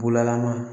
Bulalaman